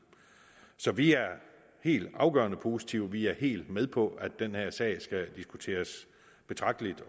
så vi er helt afgørende positive vi er helt med på at den her sag skal diskuteres betragteligt